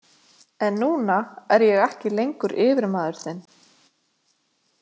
En núna er ég ekki lengur yfirmaður þinn.